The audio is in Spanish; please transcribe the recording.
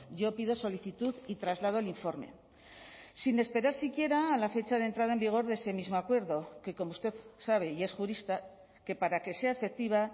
yo pido solicitud y traslado el informe sin esperar siquiera a la fecha de entrada en vigor de ese mismo acuerdo que como usted sabe y es jurista que para que sea efectiva